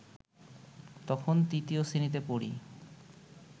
তখন তৃতীয় শ্রেণীতে পড়ি